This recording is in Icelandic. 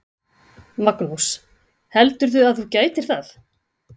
Magnús: Heldurðu að þú gætir það?